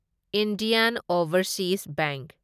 Indian overseas bank